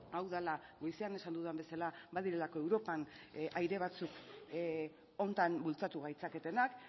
hau dela goizean esan dudan bezala badirelako europan aire batzuk honetan bultzatu gaitzaketenak